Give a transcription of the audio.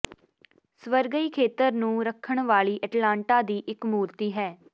ਸਵਰਗੀ ਖੇਤਰ ਨੂੰ ਰੱਖਣ ਵਾਲੀ ਐਟਲਾਂਟਾ ਦੀ ਇਕ ਮੂਰਤੀ ਹੈ